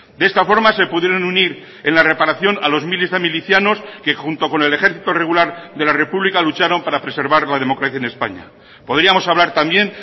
de esta forma se pudieron unir en la reparación a los miles de milicianos que junto con el ejército regular de la república lucharon para preservar la democracia en españa podríamos hablar también